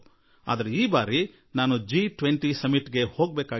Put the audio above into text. ಆದರೆ ಈ ಸಲ ನನಗೆ ಜಿ 20 ಶೃಂಗಸಭೆಗೆ ಹೋಗಬೇಕಾಗಿದೆ